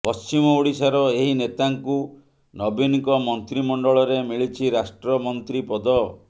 ପଶ୍ଚିମଓଡିଶାର ଏହି ନେତାଙ୍କୁ ନବୀନଙ୍କ ମନ୍ତ୍ରୀମଣ୍ଡଳରେ ମିଳିଛି ରାଷ୍ଟ୍ରମନ୍ତ୍ରୀ ପଦ